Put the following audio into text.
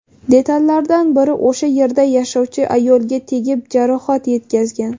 Detallardan biri o‘sha yerda yashovchi ayolga tegib, jarohat yetkazgan.